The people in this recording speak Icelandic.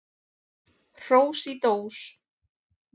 Hrós í dós.